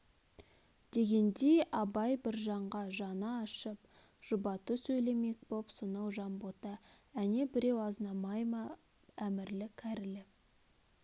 дегендей абай біржанға жаны ашып жұбату сөйлемек боп сонау жанбота әне біреу азнабай ма әмірлі кәрілі